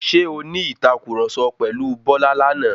Ṣé o ní ìtàkurọ̀sọ pẹ̀lu Bọ́lá lánàá?